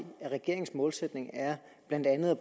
at regeringens målsætning blandt andet er